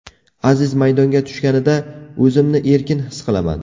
Aziz maydonga tushganida, o‘zimni erkin his qilaman.